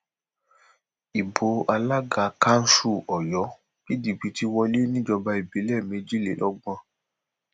ibo alága kanṣu ọyọ pdp ti wọlé níjọba ìbílẹ méjìlélọgbọn